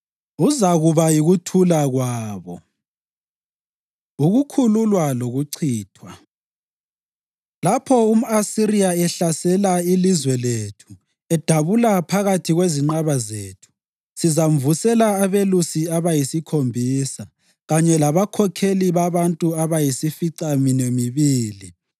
Uzakuba yikuthula kwabo. Ukukhululwa Lokuchithwa Lapho umʼAsiriya ehlasela ilizwe lethu edabula phakathi kwezinqaba zethu, sizamvusela abelusi abayisikhombisa, kanye labakhokheli babantu abayisificaminwembili.